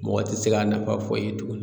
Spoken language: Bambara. Mɔgɔ tɛ se k'a nafa fɔ i ye tuguni